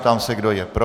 Ptám se, kdo je pro.